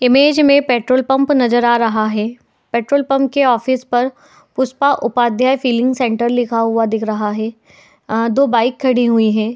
Image में petrol pump नजर आ रहा है। पेट्रोल पंप के ऑफिस पर पुष्पा उपाध्याय फिलिंग सेंटर लिखा हुआ दिख रहा है। अ- दो बाइक खड़ी हुई है।